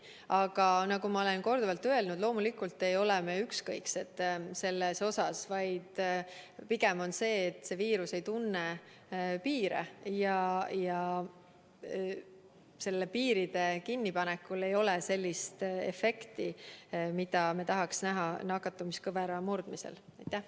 Aga nagu ma olen korduvalt öelnud, loomulikult ei ole me ükskõiksed, vaid pigem on asi selles, et see viirus ei tunne piire ja piiride kinnipanekul ei ole sellist efekti, mida me nakatumiskõvera murdmisel tahaks näha.